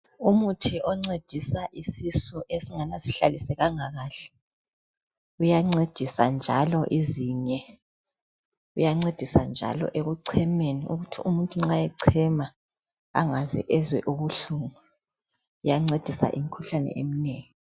Umuthi oncedisa isisu esingathi asihlalisekanga kahle, kuyancedisa njalo izinye, uyancedisa njalo ekucemeni ukuthi umuntu nxa ecema angaze ezwe ubuhlungu Iyancedisa imikhuhlane eminengi.